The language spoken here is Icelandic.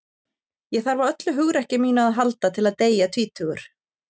Ég þarf á öllu hugrekki mínu að halda til að deyja tvítugur.